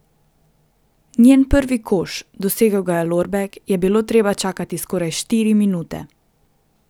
Na njen prvi koš, dosegel ga je Lorbek, je bilo treba čakati skoraj štiri minute.